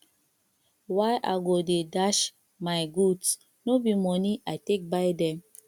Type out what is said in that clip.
why i go dey dash my goods no be moni i take buy them